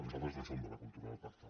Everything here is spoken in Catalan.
nosaltres no som de la cultura del pacte